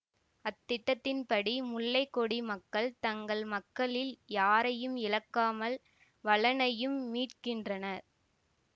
அத்திட்டத்தின் படி முல்லை கொடி மக்கள் தங்கள் மக்களில் யாரையும் இழக்காமல் வளனையும் மீட்கின்றனர்